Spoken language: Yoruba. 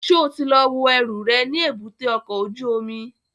Ṣo ti lọ wo ẹrù rẹ̀ ní èbúté ọkọ̀ ojú omi?